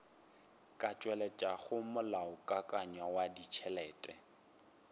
ka tšweletšago molaokakanywa wa ditšhelete